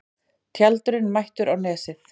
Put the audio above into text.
Tjaldurinn mættur á Nesið